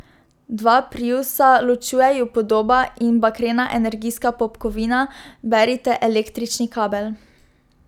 Dva priusa, ločuje ju podoba in bakrena energijska popkovina, berite električni kabel.